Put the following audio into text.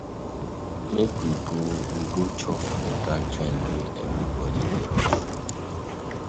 Make we go we go chop for dat joint wey everybodi dey rush go.